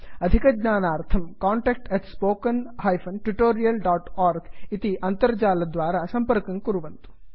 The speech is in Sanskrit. अधिकज्ञानार्थं कान्टैक्ट् spoken tutorialorg इति अन्तर्जालद्वारा सम्पर्कं कुर्वन्तु